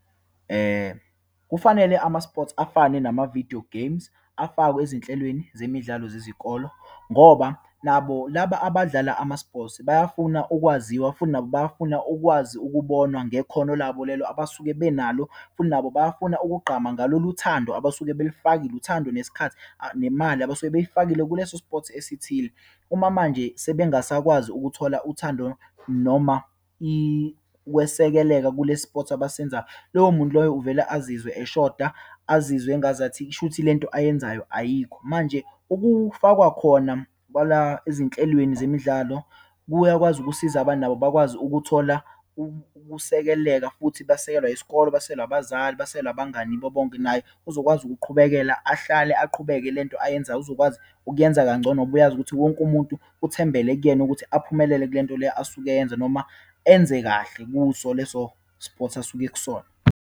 Kufanele ama-sports afane namavidiyo geyimu afakwe ezinhlelweni zemidlalo zezikolo, ngoba nabo laba abadlala ama-sports bayafuna ukwaziwa, futhi nabo bafuna ukwazi ukubonwa ngekhono labo lelo abasuke benalo, futhi nabo bayafuna ukugqama ngalolu thando abasuke belufakile, uthando, nesikhathi, nemali abasuke beyifakile kuleso sports esithile. Uma manje sebangasakwazi ukuthola uthando, noma ukwesekeleka, kule sport abasenzayo. Loyo muntu loyo uvele azizwe eshoda, azizwe engazathi kushuthi lento ayenzayo ayikho. Manje, ukufakwa khona kwalwa ezinhlelweni zemidlalo, kuyakwazi ukusiza abantu nabo bakwazi ukuthola ukusekeleka, futhi basekelwa isikole, basekelwa abazali, basekelwa abangani bonke, naye ezokwazi ukuqhubekela, ahlale aqhubeke. Le nto ayenzayo uzokwazi ukuyenza kangcono, ngoba uyazi ukuthi wonke umuntu uthembele kuyena ukuthi aphumelele kule nto leyo asuke eyenza noma enze kahle kuso leso sport asuke ekusona.